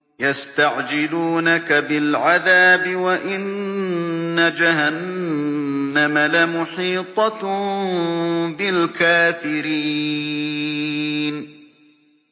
يَسْتَعْجِلُونَكَ بِالْعَذَابِ وَإِنَّ جَهَنَّمَ لَمُحِيطَةٌ بِالْكَافِرِينَ